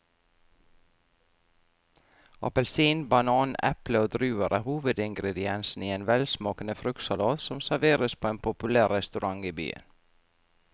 Appelsin, banan, eple og druer er hovedingredienser i en velsmakende fruktsalat som serveres på en populær restaurant i byen.